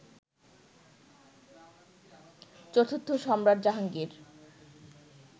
চতুর্থ সম্রাট জাহাঙ্গীর